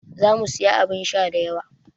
Za mu sayi abin sha da yawa.